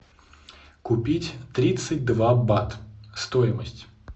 купить тридцать два бат стоимость